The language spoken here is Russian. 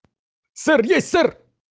сэр есть сэр